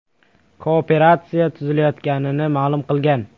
Kooperatsiya tuzilayotganini ma’lum qilgan.